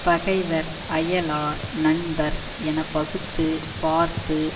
பகைவர் அயலார் நண்பர் எனப்பகுத்துப் பார்த்து